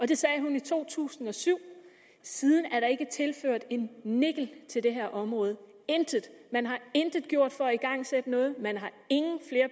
det sagde hun i to tusind og syv siden er der ikke tilført en nickel til det her område intet man har intet gjort for at igangsætte noget man har